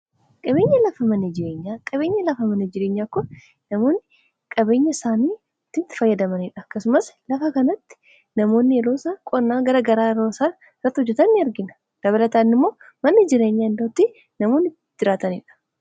Qabeenyi lafa manneen jireenyaa qabeenyi lafa manee jireenyaa kun namoonni qabeenya isaanii itti fayyadamaniidha akkasumas lafa kanatti namoonni yeroosaan qonnaa gara garaa irratti hojjetan ni argina dabalataani immoo manni jireenyaa iddootti namoonni itti jiraataniidha.